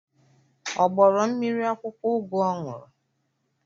Ọ gbọrọ mmiri akwụkwọ ugu ọ ṅụrụ?